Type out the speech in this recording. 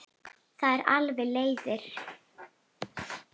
Það eru alveg leiðir.